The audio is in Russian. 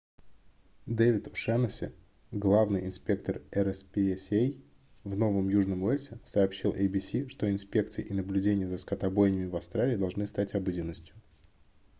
дэвид о'шаннесси главный инспектор rspca в новом южном уэльсе сообщил abc что инспекции и наблюдения за скотобойнями в австралии должны стать обыденностью